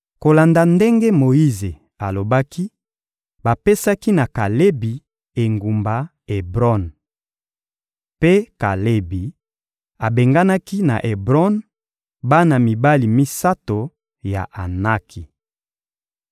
Kolanda ndenge Moyize alobaki, bapesaki na Kalebi engumba Ebron. Mpe Kalebi abenganaki na Ebron bana mibali misato ya Anaki.